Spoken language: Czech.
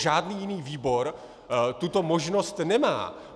Žádný jiný výbor tuto možnost nemá.